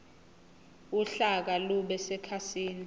uhlaka lube sekhasini